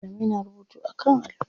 Malamai na rubutu a kan allo.